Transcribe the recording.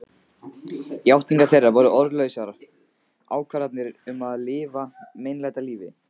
Játningar þeirra voru orðlausar ákvarðanir um að lifa meinlætalífi.